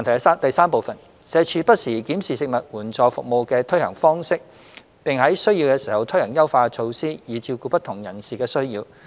三社署不時檢視食物援助服務的推行方式，並在需要時推行優化措施，以照顧不同人士的需要。